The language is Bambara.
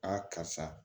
karisa